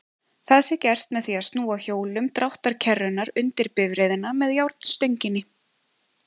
Það sé gert með því að snúa hjólum dráttarkerrunnar undir bifreiðina með járnstönginni.